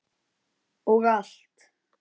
Og allt.